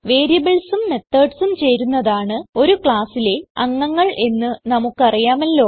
variablesഉം methodsഉം ചേരുന്നതാണ് ഒരു classലെ അംഗങ്ങൾ എന്ന് നമുക്ക് അറിയാമല്ലോ